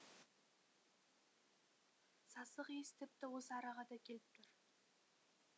сасық иіс тіпті осы араға да келіп тұр